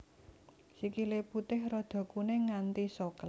Sikile putih rada kuning nganti soklat